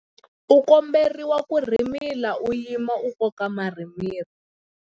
U komberiwa ku rhimila u yima ku koka marhimila.